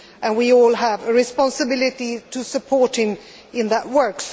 We all have a responsibility to support him in that work.